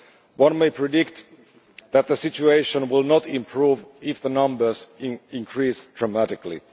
One may predict that the situation will not improve if the numbers increase dramatically.